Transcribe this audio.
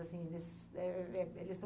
Assim, eles eh eh eh eh eles estão